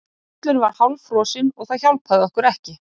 Völlurinn var hálffrosinn og það hjálpaði okkur ekki.